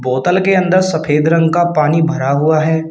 बोतल के अंदर सफेद रंग का पानी भरा हुआ है।